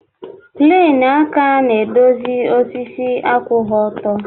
Pleni aka na-edozi osisi akwụghị ọtọ.